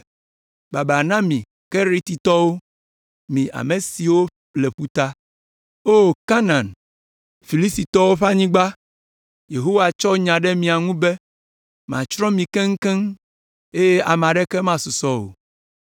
Baba na mi Keretitɔwo, mi ame siwo le ƒuta; O Kanaan, Filistitɔwo ƒe anyigba, Yehowa tsɔ nya ɖe mia ŋu be, “Matsrɔ̃ mi keŋkeŋkeŋ, eye ame aɖeke masusɔ o.”